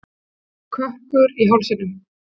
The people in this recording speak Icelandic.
Kökkur í hálsinum.